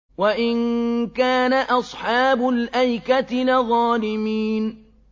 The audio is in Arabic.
وَإِن كَانَ أَصْحَابُ الْأَيْكَةِ لَظَالِمِينَ